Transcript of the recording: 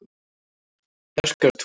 Bjarkartúni